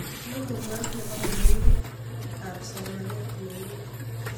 logoyot nebo konegit ab somanet nenin